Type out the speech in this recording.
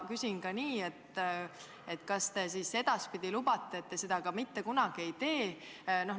Küsin ka nii: kas te siis lubate, et te seda edaspidi mitte kunagi ei tee?